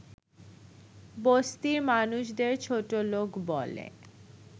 বস্তির মানুষদের ছোটলোক বলে